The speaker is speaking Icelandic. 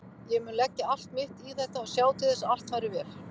Ég mun leggja allt mitt í þetta og sjá til þess að allt fari vel.